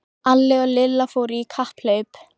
Alli og Lilla fóru í kapphlaup.